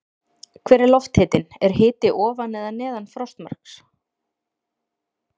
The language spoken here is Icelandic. Hver er lofthitinn, er hiti ofan eða neðan frostmarks?